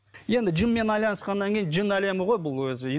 енді жынмен айналысқаннан кейін жын әлемі ғой бұл өзі